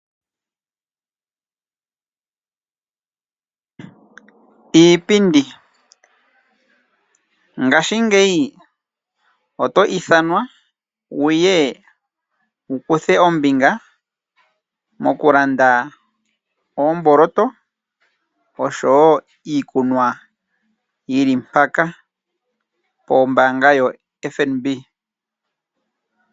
Alikana oto ithanwa ngashingeyi opo wu ye wu kuthe ombinga mokulanda uumboloto wanakanena, oshowo iikunwa yi li mpaka, pombaanga yotango yopashigwana.